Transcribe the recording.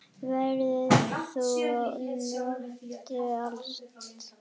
Værðar þú njóta skalt.